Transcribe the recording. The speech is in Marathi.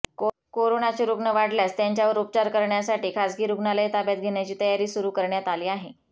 कोरोनाचे रुग्ण वाढल्यास त्यांच्यावर उपचार करण्यासाठी खाजगी रुग्णालये ताब्यात घेण्याची तयारी सुरू करण्यात आली आहे